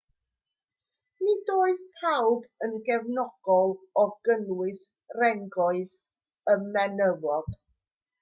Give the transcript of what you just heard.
nid oedd pawb yn gefnogol o gynnwys rhengoedd y menywod